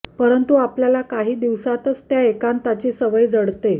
परंतु आपल्याला काही दिवसातच त्या एकांताची सवय जडते